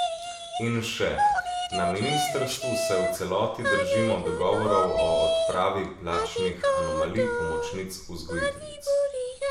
In še: 'Na ministrstvu se v celoti držimo dogovorov o odpravi plačnih anomalij pomočnic vzgojiteljic.